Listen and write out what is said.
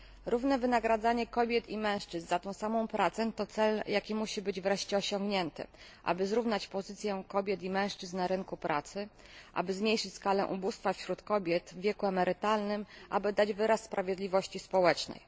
Równe wynagradzanie kobiet i mężczyzn za tę samą pracę to cel, jaki musi być wreszcie osiągnięty, aby zrównać pozycję kobiet i mężczyzn na rynku pracy, aby zmniejszyć skalę ubóstwa wśród kobiet w wieku emerytalnym, aby dać wyraz sprawiedliwości społecznej.